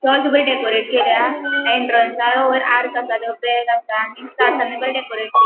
चर्च बरी डेकॉरेट केल्या इंटर्नसावयर आर्क आसा. तो ब्लॅक आसा बरी डेकॉरेट केल्या.